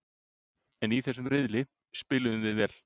En í þessum riðli spiluðum við vel.